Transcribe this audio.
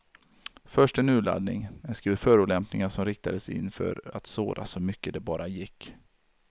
Först en urladdning, en skur förolämpningar som riktades in för att såra så mycket det bara gick.